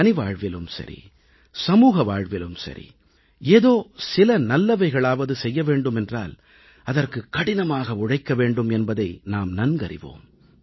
தனி வாழ்விலும் சரி சமூக வாழ்விலும் சரி ஏதோ சில நல்லவைகளையாவது செய்ய வேண்டும் என்றால் அதற்கு கடினமாக உழைக்க வேண்டும் என்பதை நாம் நன்கறிவோம்